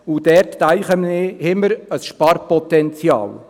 Dort, denken wir, haben wir ein Sparpotenzial.